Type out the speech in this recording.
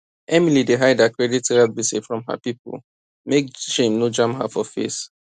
emily dey hide her credit card gbese from her people make shame no jam her for face